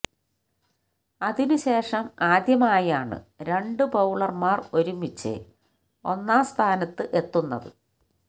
അതിന് ശേഷം ആദ്യമായാണ് രണ്ട് ബൌളര്മാര് ഒരുമിച്ച് ഒന്നാം സ്ഥാനത്ത് എത്തുന്നത്